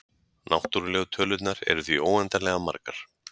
Náttúrlegu tölurnar eru því óendanlega margar.